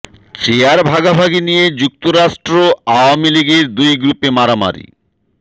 chair ভাগাভাগি নিয়ে যুক্তরাষ্ট্র আওয়ামী লীগের দুই গ্রুপে মারামারি